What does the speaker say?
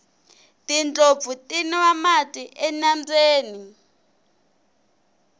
tindlopfu ti nwa mati enambyeni